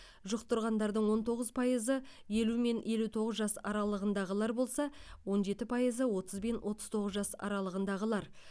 жұқтырғанардың он тоғыз пайызы елу мен елу тоғыз жас аралығындағылар болса он жеті пайызы отыз бен отыз тоғыз жас аралығындағылар